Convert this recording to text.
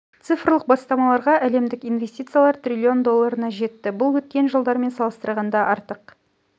цифрлық бастамаларға әлемдік инвестициялар трлн долларына жетті бұл өткен жылдармен салыстырғанда артық